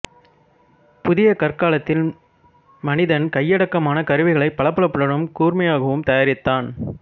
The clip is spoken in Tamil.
புதிய கற்காலத்தில் மனிதன் கையடக்கமான கருவிகளைப் பளபளப்புடன் கூர்மையாகவும் தயாரித்தான்